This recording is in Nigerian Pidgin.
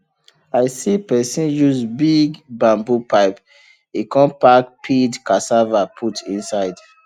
i see person use big bamboo pipe e come pack peeled cassava put inside